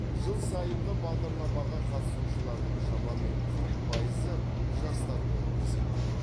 жыл сайынғы бағдарламаға қатысушылардың шамамен қырық пайызы жастар болып есептеледі